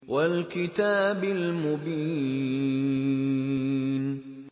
وَالْكِتَابِ الْمُبِينِ